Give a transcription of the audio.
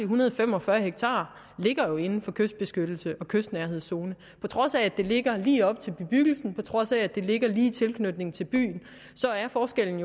hundrede og fem og fyrre ha ligger jo inden for kystbeskyttelses og kystnærhedszone på trods af at det ligger lige op til bebyggelsen og på trods af at det ligger lige i tilknytning til byen så er forskellen